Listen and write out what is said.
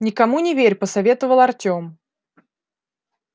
никому не верь посоветовал артём